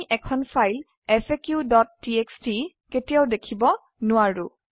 আমি এখন ফাইল faqটিএক্সটি কেতিয়াওদেখিব নোৱাৰো